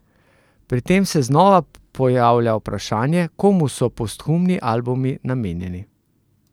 Pri tem se znova pojavlja vprašanje, komu so posthumni albumi namenjeni?